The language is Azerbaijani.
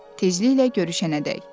Tezliklə görüşənədək.